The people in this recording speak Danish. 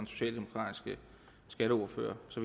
socialdemokratiske skatteordfører så